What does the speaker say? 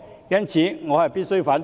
因此，我必須反對。